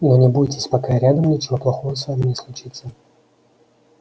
но не бойтесь пока я рядом ничего плохого с вами не случится